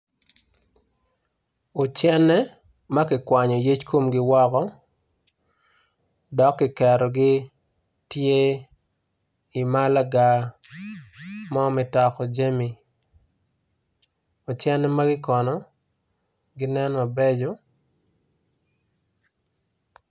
Ucene, ma kikwanyo yec komgi woko, dok ki ketgi tye i malaga mo me doko jami, ocene magi kono ginen mabeco.